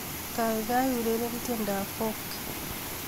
Kaikai ureren tiendoab Folk